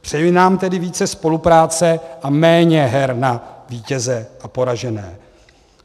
Přeji nám tedy více spolupráce a méně her na vítěze a poražené.